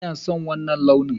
Ina son wanna launin.